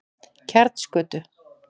Kjartansgötu